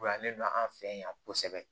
U yalen don an fɛ yan kosɛbɛ